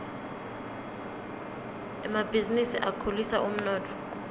emabhizinisi akhulisa umnotfo